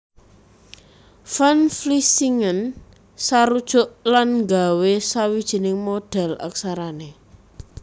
Van Vlissingen sarujuk lan nggawé sawijining modhèl aksarané